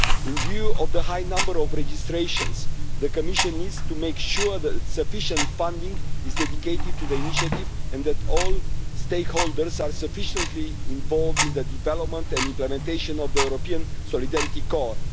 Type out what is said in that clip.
In view of the high number of registrations, the Commission needs to make sure that sufficient funding is dedicated to the initiative and that all stakeholders are sufficiently involved in the development and implementation of the European Solidarity Corps.